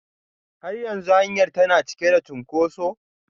Har yanzu hanyar tana cike da cunkoso?